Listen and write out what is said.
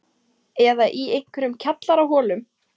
Eða í einhverjum kjallaraholum?